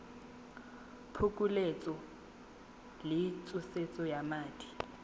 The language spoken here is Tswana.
phokoletso le pusetso ya madi